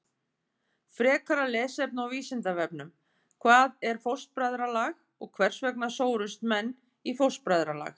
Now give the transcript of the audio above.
Frekara lesefni á Vísindavefnum: Hvað er fóstbræðralag og hvers vegna sórust menn í fóstbræðralag?